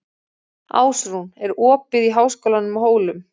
Ásrún, er opið í Háskólanum á Hólum?